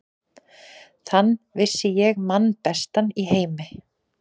Þann vissi ég mann bestan í heimi.